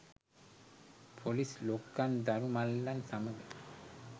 police ලොක්කන් දරු මල්ලන් සමග